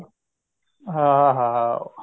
ਹਾਂ ਹਾਂ